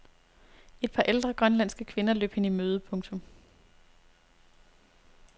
Et par ældre grønlandske kvinder løb hende i møde. punktum